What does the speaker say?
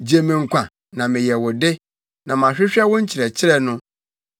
Gye me nkwa, na meyɛ wo de; na mahwehwɛ wo nkyerɛkyerɛ no.